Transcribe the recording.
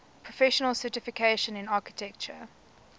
professional certification in architecture